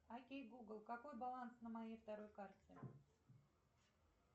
окей гугл какой баланс на моей второй карте